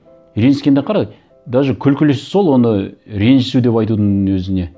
ренжіскенде қара даже күлкілісі сол оны ренжісу деп айтудың өзіне